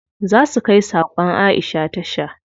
Za su kai sakon Aisha tasha.